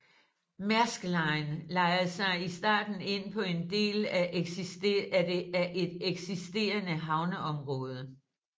Maersk Line lejede sig i starten ind på en del af et eksisterende havneområde